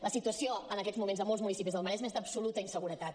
la situació en aquests moments a molts municipis del maresme és d’absoluta inseguretat